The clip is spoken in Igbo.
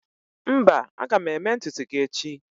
mba, aga m eme ntutu gi echi